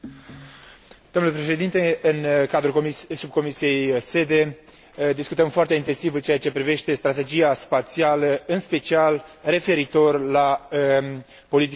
În cadrul subcomisiei SEDE discutăm foarte intensiv în ceea ce privește strategia spațială, în special referitor la politica de securitate și apărare.